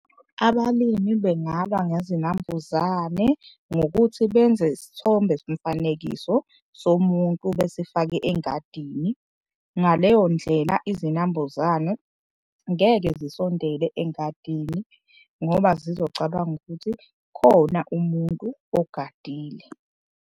Abalimi bengalwa ngezinambuzane ngokuthi benze isithombe somfanekiso somuntu besifake engadini. Ngaleyo ndlela izinambuzane ngeke zisondele engadini ngoba zizocabanga ukuthi khona umuntu ogadile.